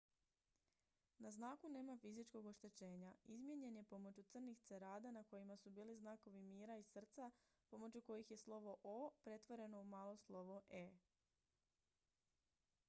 "na znaku nema fizičkog oštećenja; izmijenjen je pomoću crnih cerada na kojima su bili znakovi mira i srca pomoću kojih je slovo "o" pretvoreno u malo slovo "e"".